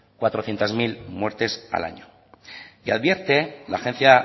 cuatrocientos mil muertes al año y advierte la agencia